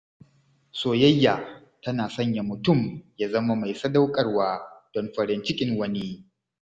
Soyayya tana sanya mutum ya zama mai sadaukarwa don farin cikin wani.